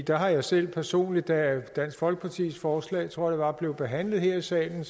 der har jeg selv personligt da dansk folkepartis forslag tror jeg det var blev behandlet her i salen